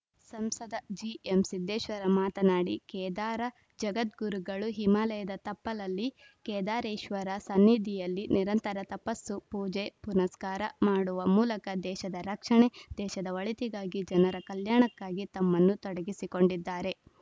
ಸಂಸದ ಜಿಎಂಸಿದ್ದೇಶ್ವರ ಮಾತನಾಡಿ ಕೇದಾರ ಜಗದ್ಗುರುಗಳು ಹಿಮಾಲಯದ ತಪ್ಪಲಲ್ಲಿ ಕೇದಾರೇಶ್ವರ ಸನ್ನಿಧಿಯಲ್ಲಿ ನಿರಂತರ ತಪಸ್ಸು ಪೂಜೆ ಪುನಸ್ಕಾರ ಮಾಡುವ ಮೂಲಕ ದೇಶದ ರಕ್ಷಣೆ ದೇಶದ ಒಳಿತಿಗಾಗಿ ಜನರ ಕಲ್ಯಾಣಕ್ಕಾಗಿ ತಮ್ಮನ್ನು ತಡಗಿಸಿಕೊಂಡಿದ್ದಾರೆ